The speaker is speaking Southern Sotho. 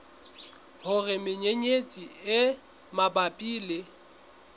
hore menyenyetsi e mabapi le